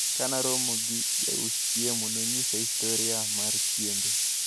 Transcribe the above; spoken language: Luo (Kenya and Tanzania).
Kanaromo gi jaus chiemo, nonyisa historia mar chiembe.